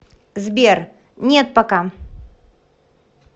сбер нет пока